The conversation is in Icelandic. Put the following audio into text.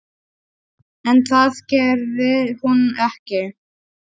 En það gerði hún ekki.